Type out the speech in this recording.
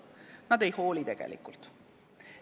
Tegelikult nad ei hooli.